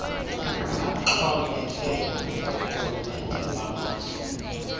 baxhomekeke koorhulumente bamazwe